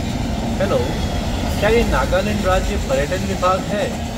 Hello! क्या ये नागालैंड राज्य पर्यटन विभाग है?